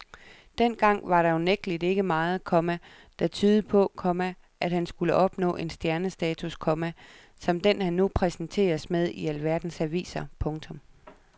Dengang var der unægteligt ikke meget, komma der tydede på, komma at han skulle opnå en stjernestatus, komma som den han nu præsenteres med i alverdens aviser. punktum